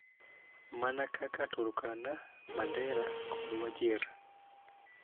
Mana kaka Turkana, Mandera, kod Wajir,